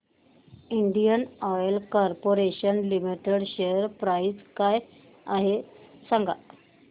Indian oil corporation limited share price काय आहे सांगा